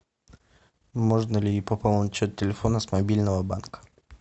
можно ли пополнить счет телефона с мобильного банка